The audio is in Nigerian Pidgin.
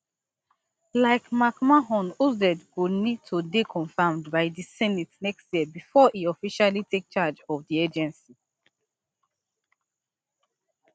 like mcmahon oz go need to dey confirmed by di senate next year bifor e officially take charge of di agency